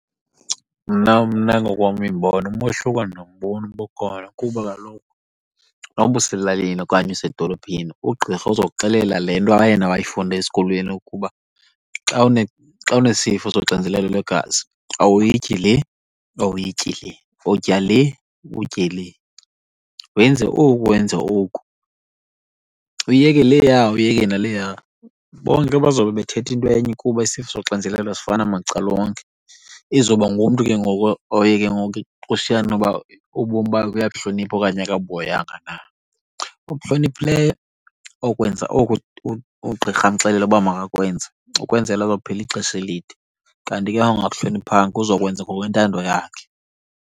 Mna, mna ngokowam iimbono umehluko andimboni uba ukhona kuba kaloku noba uselalini okanye usedolophini ugqirha uzokuxelela le nto yena wayifunda esikolweni ukuba xa xa unesifo soxinzelelo lwegazi awuyityi le, awuyityi le, utya le, utye le, wenze oku, wenze oku, uyeke leya, uyeke naleya. Bonke bazawube bethetha into enye kuba isifo soxinizelelo sifana macala onke. Izoba ngumntu ke ngoku oye ke ngoku kushiyane uba ubomi bakhe uyabuhlonipha okanye akabuhoyanga na. Obuhloniphileyo okwenza oku ugqirha amxelela uba makakwenze ukwenzela azophila ixesha elide kanti ke ongabuhloniphanga uzokwenza ngokwentando yakhe.